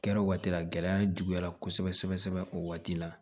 Kɛra waati la gɛlɛya juguyara kosɛbɛ sɛbɛ sɛbɛ o waati la